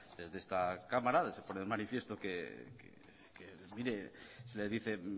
desde esta cámara se pone de manifiesto que mire les dice